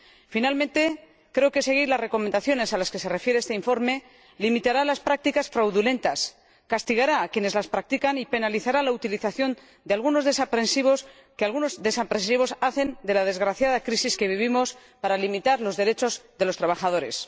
Finalmente, creo que seguir las recomendaciones a las que se refiere este informe limitará las prácticas fraudulentas, castigará a quienes las practican y penalizará la utilización que algunos desaprensivos hacen de la desgraciada crisis que vivimos para limitar los derechos de los trabajadores.